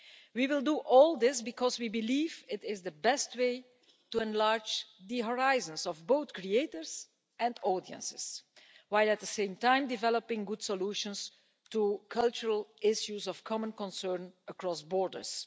We will do all this because we believe it is the best way to enlarge the horizons of both creators and audiences, while at the same time developing good solutions to cultural issues of common concern across borders.